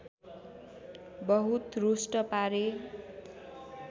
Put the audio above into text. बहुत रुष्ट पारे